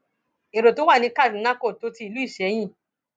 èrò tó wà ní kaduna kó tó ti ìlú ìsẹyìn